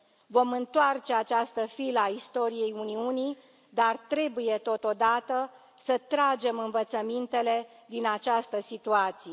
Vom întoarce această filă a istoriei Uniunii, dar trebuie, totodată, să tragem învățămintele din această situație.